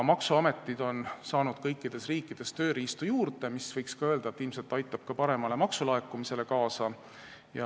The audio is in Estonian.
Maksuametid on saanud kõikides riikides tööriistu juurde, mis, võiks öelda, ilmselt aitab kaasa paremale maksulaekumisele.